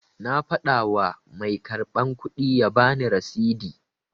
Na fada wa mai karban kudi ya bani rasidi